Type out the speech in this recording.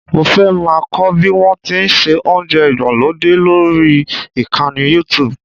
Mo fẹ́ máa kọ́ bí wọ́n ti ń se oúnjẹ ìgbàlódé lórí ìkànnì Youtube